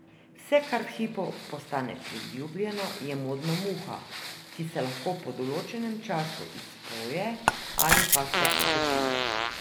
Vse, kar v hipu postane priljubljeno, je modna muha, ki se lahko po določenem času izpoje ali pa se obdrži.